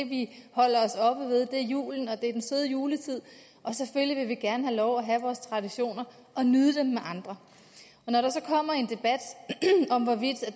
vi holder os oppe ved julen og den søde juletid og selvfølgelig vil vi gerne have lov at have vores traditioner og nyde dem med andre når der så kommer en debat om hvorvidt